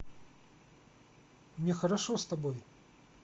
мне хорошо с тобой